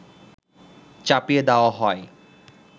চাপিয়ে দেওয়া হয়